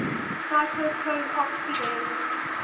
cytochrome oxidase